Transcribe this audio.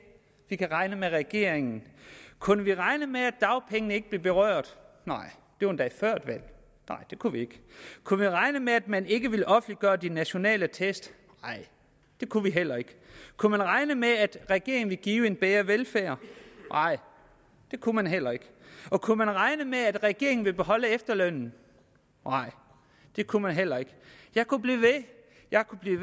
vi kan regne med regeringen kunne vi regne med at dagpengene ikke ville blive berørt nej det var endda før et valg det kunne vi ikke kunne vi regne med at man ikke ville offentliggøre de nationale test nej det kunne vi heller ikke kunne vi regne med at regeringen ville give en bedre velfærd nej det kunne vi heller ikke og kunne vi regne med at regeringen ville bevare efterlønnen nej det kunne vi heller ikke jeg kunne blive